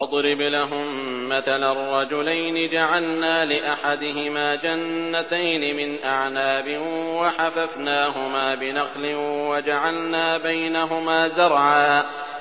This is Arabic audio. ۞ وَاضْرِبْ لَهُم مَّثَلًا رَّجُلَيْنِ جَعَلْنَا لِأَحَدِهِمَا جَنَّتَيْنِ مِنْ أَعْنَابٍ وَحَفَفْنَاهُمَا بِنَخْلٍ وَجَعَلْنَا بَيْنَهُمَا زَرْعًا